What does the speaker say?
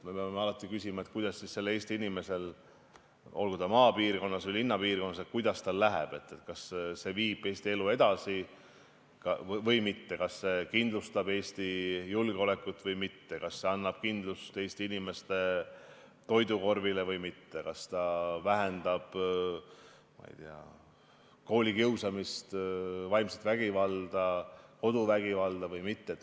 Me peame alati küsima, kuidas sellel Eesti inimesel läheb, olgu ta maapiirkonnas või linnapiirkonnas –kas see viib Eesti elu edasi või mitte, kas see kindlustab Eesti julgeolekut või mitte, kas see annab kindlust Eesti inimeste toidukorvile või mitte, kas ta vähendab koolikiusamist, vaimset vägivalda, koduvägivalda või mitte?